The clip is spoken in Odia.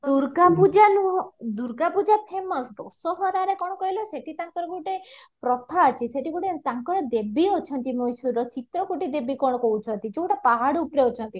ଦୁର୍ଗ ପୂଜା ନୁହଁ ଦୁର୍ଗ ପୂଜା famous ଉଷ୍ଦବଟାରେ କଣ କହିଲ ସେଠି ତାଙ୍କର ଗୋଟେ ପ୍ରଥା ଅଛି ସେଠି ଗୋଟେ ତାଙ୍କର ଦେବୀ ଅଛନ୍ତି ମହେଶ୍ଵରର ଚିତ୍ରାକୁଟି ଦେବୀ କଣ କହୁଚନ୍ତି ଯୋଉଟା ପାହାଡ ଉପରେ ଅଛନ୍ତି